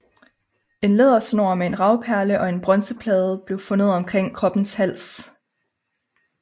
En lædersnor med en ravperle og en bronzeplade blev fundet omkring kroppens hals